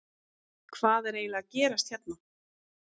Hvað er eiginlega að gerast hérna?